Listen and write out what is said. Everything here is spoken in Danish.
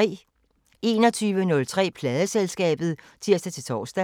21:03: Pladeselskabet (tir-tor)